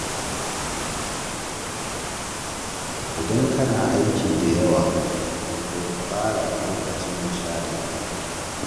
Idan kana da aiki da yawa, to ka tsara lokacin nishaɗinka.